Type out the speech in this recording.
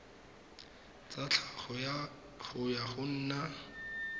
tsa tlhago yo o nang